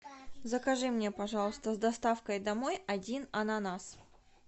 закажи мне пожалуйста с доставкой домой один ананас